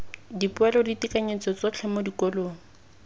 dipoelo ditekanyetso tsotlhe mo dikolong